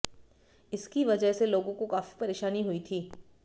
इसकी वजह से लोगों को काफी परेशानी हुई थी